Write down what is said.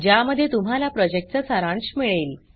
ज्यामध्ये तुम्हाला प्रॉजेक्टचा सारांश मिळेल